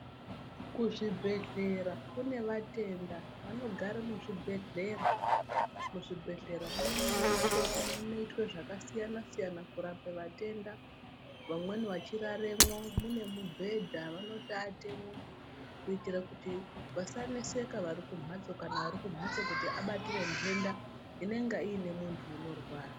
Kuzvibhehlera kune vatenda vanogara muzvibhehlera. Muzvibhehlera munoitwa zvakasiyana siyana, kurape vatenda vamweni vachiraremwo mune mubhedha vanotoatemwo kuti vasaneseka vari kumhatso kana vari kumhatso vabatire ntenda inenge ine muntu uri kurwara.